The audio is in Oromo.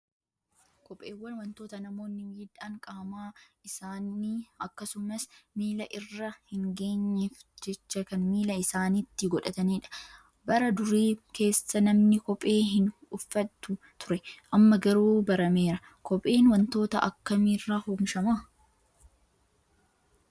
Kopheewwan wantoota namoonni miidhaan qaama isaanii akkasumas miila irra hin geenyeef jecha kan miila isaaniitti godhatanidha. Bara durii keessa namni kophee hin uffatu ture. Amma garuu barameera. Kopheen wantoota akkamiirraa oomishamaa?